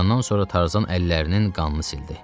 Doyandan sonra Tarzan əllərinin qanını sildi.